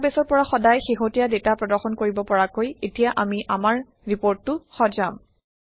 ডাটাবেছৰ পৰা সদায়েই শেহতীয়া ডাটা প্ৰদৰ্শন কৰিব পৰাকৈ এতিয়া আমি আমাৰ ৰিপৰ্টটো সজাম